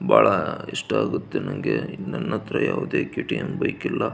ಬಹಳ ಇಷ್ಟ ಆಗುತ್ತೆ ನನಗೆ ನನ್ ಹತ್ರ ಯಾವುದೇ ಕೆ. ಟಿ .ಎಂ ಬೈಕ್ ಇಲ್ಲ.